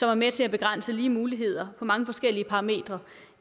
er med til at begrænse lige muligheder på mange forskellige parametre